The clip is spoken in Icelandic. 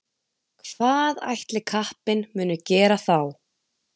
Hvað ætli kappinn muni gera þá?